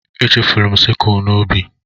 Echefuru m sikụl n'ubi.